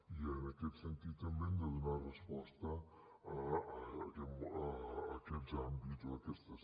i en aquest sentit també hem de donar resposta a aquests àmbits o a aquestes